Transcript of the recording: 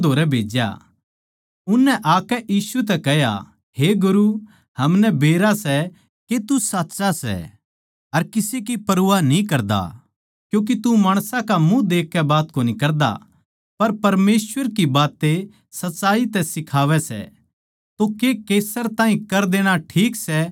उननै आकै यीशु तै कह्या हे गुरू हमनै बेरा सै के तू साच्चा सै अर किसे की परवाह न्ही करदा क्यूँके तू माणसां का मुँह देखकै बात कोनी करदा पर परमेसवर की बातें सच्चाई तै सिखावै सै तो के कैसर ताहीं कर देणा ठीक सै या कोनी